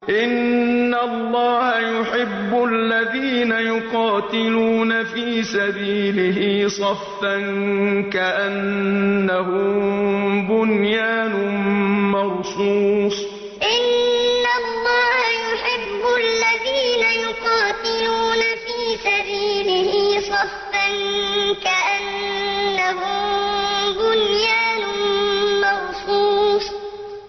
إِنَّ اللَّهَ يُحِبُّ الَّذِينَ يُقَاتِلُونَ فِي سَبِيلِهِ صَفًّا كَأَنَّهُم بُنْيَانٌ مَّرْصُوصٌ إِنَّ اللَّهَ يُحِبُّ الَّذِينَ يُقَاتِلُونَ فِي سَبِيلِهِ صَفًّا كَأَنَّهُم بُنْيَانٌ مَّرْصُوصٌ